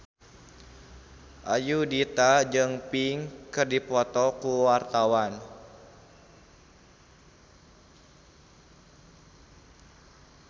Ayudhita jeung Pink keur dipoto ku wartawan